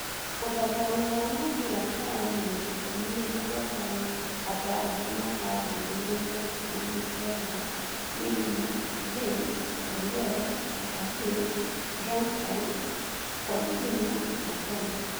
Ũthathaũri wa mũbira rũraya mweri ikũmi na mũgwanja wa gatandatũ mwaka wa Ngiri igĩrĩ na ikũmi na kenda; Neymar, Bale, Ndombele, Cahill, Dumfries, Coutinho, Buffon